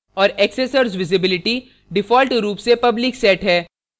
औऱ accessors visibility default रूप से public set है